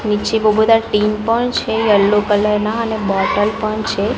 નીચે બો બધા ટીન પણ છે યેલો કલર ના અને બોટલ પણ છે.